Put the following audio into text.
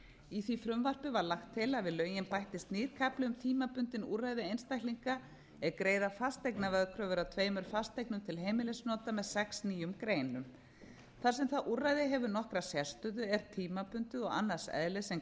í því frumvarpi var lagt til að við lögin bættist nýr kafli um tímabundin úrræði einstaklinga er greiða fasteignaveðkröfur af tveimur fasteignum til heimilisnota með sex nýjum greinum þar sem það úrræði hefur nokkra sérstöðu er tímabundið og annars eðlis en